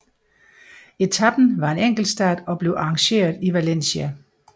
Etapen var en enkeltstart og blev arrangeret i Valencia